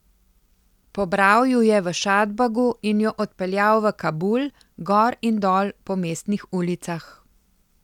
Pobral ju je v Šadbagu in ju odpeljal v Kabul, gor in dol po mestnih ulicah.